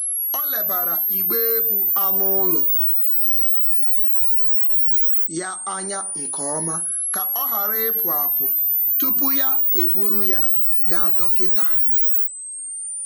Ọ lebara igbe ebu anụ ụlọ ya anya nke ọma ka ọ ghara ịpụ apụ tupu ya eburu ya gaa dọkịta.